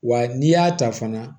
Wa n'i y'a ta fana